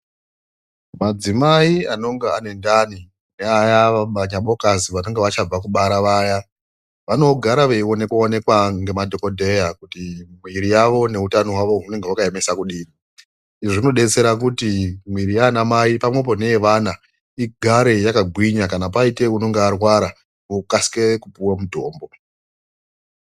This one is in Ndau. Madzimai anonga anendani aya manyabokazi vanenge vachabva kubara vaya vanogara veionekwa-onekwa ngemadhogodheya kuti muiri yavo neutano hwavo hunonga hwakaemesa kudini. Izvi zvinodetsera kuti mwiiri yaanamai pamwepo neyevana igare yakagwinya. Kana paite unenge arwara okasire kupuwe mutombo.